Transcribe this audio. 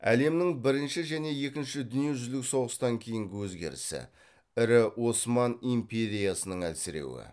әлемнің бірінші және екінші дүние жүзілік соғыстан кейінгі өзгерісі ірі осман империясының әлсіреуі